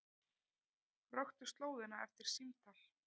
Röktu slóðina eftir símtal